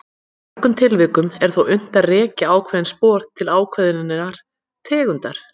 Í mörgum tilvikum er þó unnt að rekja ákveðin spor til ákveðinnar tegundar.